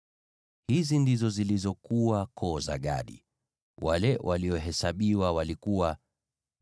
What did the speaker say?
Hizi ndizo zilizokuwa koo za Gadi; wale waliohesabiwa walikuwa 40,500.